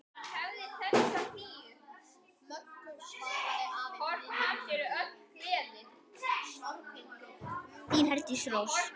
Þín Herdís Rós.